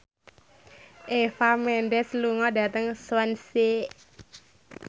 Eva Mendes lunga dhateng Swansea